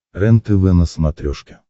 рентв на смотрешке